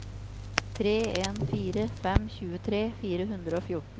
tre en fire fem tjuetre fire hundre og fjorten